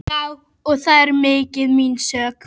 Já, og það er ekki mín sök.